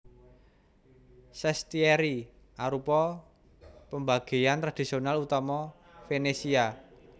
Sestieri arupa pembagéan tradisional utama Venesia